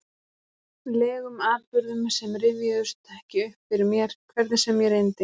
legum atburðum sem rifjuðust ekki upp fyrir mér, hvernig sem ég reyndi?